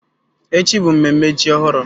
Echi bụ mmemme ji ọhụrụ